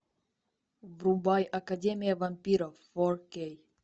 врубай академия вампиров фор кей